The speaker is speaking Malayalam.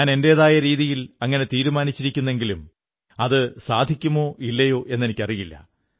ഞാൻ എന്റെതായ രീതിയിൽ അങ്ങനെ തീരുമാനിച്ചിരിക്കുെന്നങ്കിലും അതു സാധിക്കുമോ ഇല്ലയോ എന്നറിയില്ല